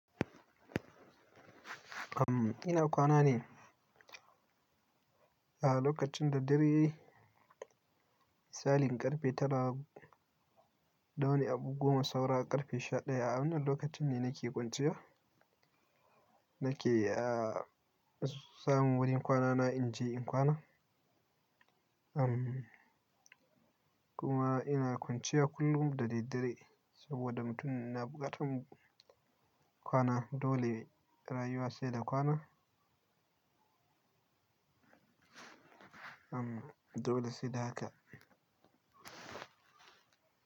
Ina kwana ne. A lokacin da dare misalin ƙarfe tara da wani abu goma saura ƙarfe sha daya, a wannan lokacin ne nake kwanciya. Nake, samun wurin kwanana in je in kwana. Am, kuma ina kwanciya kullum da daddare saboda mutum yana buƙatar kwana dole rayuwa sai da kwana. Am, dole sai da haka.